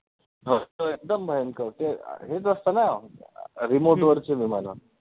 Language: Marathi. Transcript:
असतो एकदम भयंकर ते हेच असतं नं remote वरचे विमानं